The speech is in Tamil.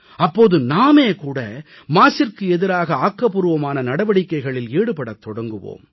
அப்போது நாமே கூட மாசிற்கு எதிராக ஆக்கபூர்வமான நடவடிக்கைகளில் ஈடுபடத் தொடங்குவோம்